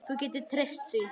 Þú getur treyst því.